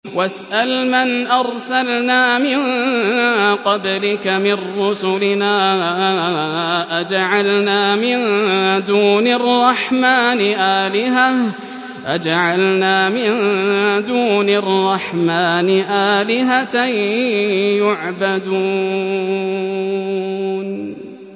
وَاسْأَلْ مَنْ أَرْسَلْنَا مِن قَبْلِكَ مِن رُّسُلِنَا أَجَعَلْنَا مِن دُونِ الرَّحْمَٰنِ آلِهَةً يُعْبَدُونَ